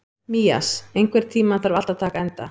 Mías, einhvern tímann þarf allt að taka enda.